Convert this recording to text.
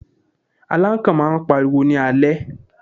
Alákàn máà ń pariwo ní alẹ́.